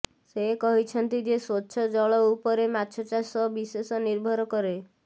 ସେ କହିଛନ୍ତି ଯେ ସ୍ୱଚ୍ଛ ଜଳ ଉପରେ ମାଛଚାଷ ବିଶେଷ ନିର୍ଭର କରେ